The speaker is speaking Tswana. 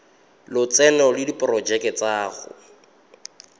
lotseno le diporojeke tsa go